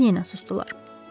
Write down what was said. Onlar yenə susdular.